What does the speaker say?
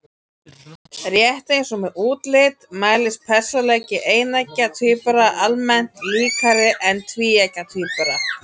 Rétt eins og með útlit mælist persónuleiki eineggja tvíbura almennt líkari en tvíeggja tvíbura.